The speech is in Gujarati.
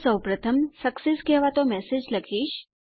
તો સૌપ્રથમ સક્સેસ કહેવાતો મેસેજ લખીશ